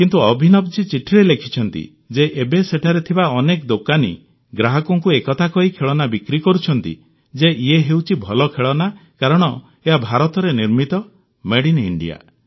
କିନ୍ତୁ ଅଭିନବଜୀ ଚିଠିରେ ଲେଖିଛନ୍ତି ଯେ ଏବେ ସେଠାରେ ଥିବା ଅନେକ ଦୋକାନୀ ଗ୍ରାହକଙ୍କୁ ଏକଥା କହି ଖେଳନା ବିକ୍ରି କରୁଛନ୍ତି ଯେ ଇଏ ହେଉଛି ଭଲ ଖେଳଣା କାରଣ ଏହା ଭାରତରେ ନିର୍ମିତ ମେଡ୍ ଇନ୍ ଇଣ୍ଡିଆ